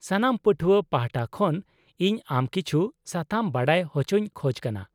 ᱥᱟᱱᱟᱢ ᱯᱟᱹᱴᱷᱣᱟᱹ ᱯᱟᱷᱴᱟ ᱠᱷᱚᱱ ᱤᱧ ᱟᱢ ᱠᱤᱪᱷᱩ ᱥᱟᱛᱟᱢ ᱵᱟᱰᱟᱭ ᱦᱚᱪᱚᱧ ᱠᱷᱚᱡ ᱠᱟᱱᱟ ᱾